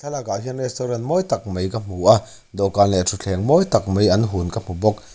lakah hian restaurant mawi tak mai ka hmu a dawhkan leh thutthleng mawi tak mai an hun ka hmu bawk.